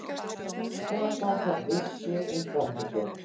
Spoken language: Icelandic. Skapa þarf vissu um framhaldið